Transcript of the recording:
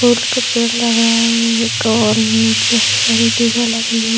फूल का पेड़ लग रहा है एक और नीचे हरी-भरी दू गो लगी हुई है।